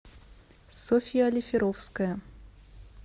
софья олиферовская